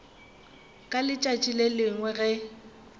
ka letšatši le lengwe ge